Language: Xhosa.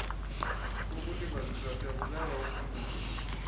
kokulibazisa siyakubeka uphunyezo